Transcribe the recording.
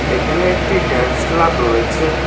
এইখানে একটি dance club রয়েছে।